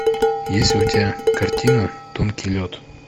есть ли у тебя картина тонкий лед